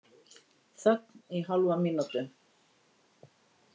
Þögn í hálfa mínútu.